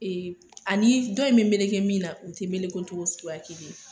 Ee ani dɔ in bɛ meleke min na , u tɛ meleko cogo sugu kelen ye.